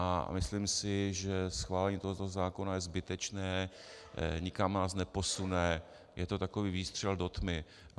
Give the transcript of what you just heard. A myslím si, že schválení tohoto zákona je zbytečné, nikam nás neposune, je to takový výstřel do tmy.